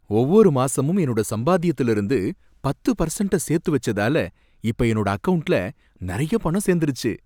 ஒவ்வொரு மாசமும் என்னோட சம்பாத்தியத்துல இருந்து பத்து பர்சண்ட்ட சேர்த்து வச்சதால இப்ப என்னோட அக்கவுண்ட்ல நறைய பணம் சேர்ந்துருச்சு.